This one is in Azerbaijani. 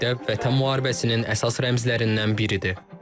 Bu abidə Vətən müharibəsinin əsas rəmzlərindən biridir.